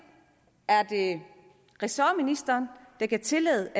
ressortministeren der kan give tilladelse